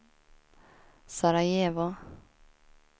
Sarajevo